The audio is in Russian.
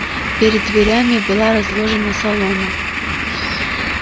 перед дверями была разложена солома